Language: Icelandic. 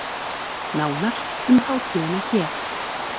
Nánar um hátíðina hér